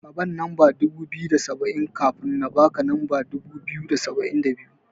Kaban lamba dubu biyu da saba'in, kafin na baka lamba dubu biyu da saba'in da biyu.